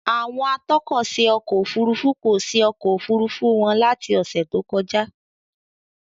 Àwọn atọ́kọ̀ṣe ọkọ òfurufú kò ṣe ọkọ̀ Òfurufú wọn láti ọ́sẹ̀ tó kọjá.